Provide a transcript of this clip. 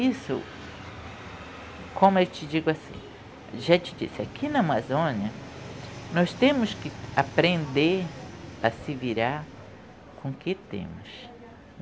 Isso, como eu te digo, assim, já te disse, aqui na Amazônia, nós temos que aprender a se virar com o que temos.